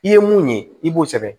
I ye mun ye i b'o sɛbɛn